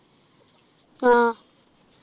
ആഹ്